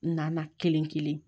Na kelen kelen